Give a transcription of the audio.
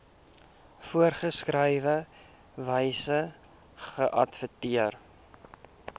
voorgeskrewe wyse geadverteer